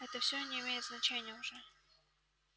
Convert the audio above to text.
это все не имеет значения уже